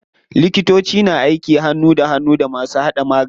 Likitoci na aiki hannu da hannu da masu hada magani.